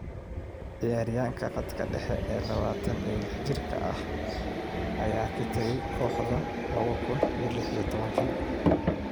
Ciyaaryahanka khadka dhexe ee 26 jirka ah ayaa ka tagay kooxda 2016.